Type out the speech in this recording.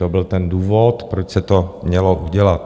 To byl ten důvod, proč se to mělo udělat.